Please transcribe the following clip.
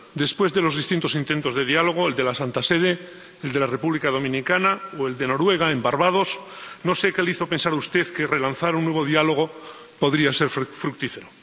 Después de los distintos intentos de diálogo —el de la Santa Sede, el de la República Dominicana o el de Noruega en Barbados—, no sé qué le hizo pensar a usted que relanzar un nuevo diálogo podría ser fructífero.